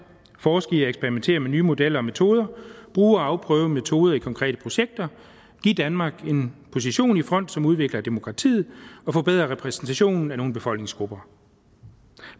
forske i at eksperimentere med nye modeller og metoder bruge og afprøve metoder i konkrete projekter og give danmark en position i front som udvikler demokratiet og forbedrer repræsentationen af nogle befolkningsgrupper